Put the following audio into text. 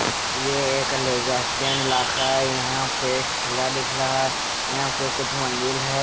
ये एक इलाका है यहां पे खिला दिख लहा है यहां पे कुछ मंदिल है।